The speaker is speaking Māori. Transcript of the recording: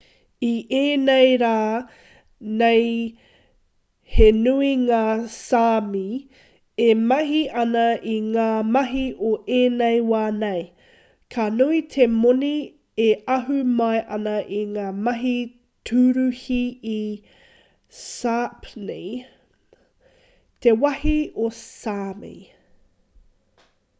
i ēnei rā nei he nui ngā sāmi e mahi ana i ngā mahi o ēnei wā nei ka nui te moni e ahu mai ana i ngā mahi tūruhi i sāpmi te wāhi o sāmi